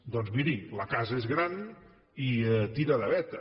doncs miri la casa és gran i tira de veta